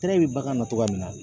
Tɛrɛ bɛ bagan na cɔgɔya min na